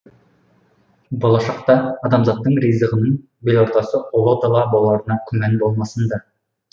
болашақта адамзаттың ризығының белортасы ұла дала боларына күмән болмасын да